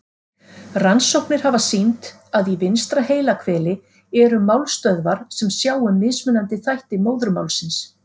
Rannsóknir hafa sýnt að í vinstra heilahveli eru málstöðvar sem sjá um mismunandi þætti móðurmálsins.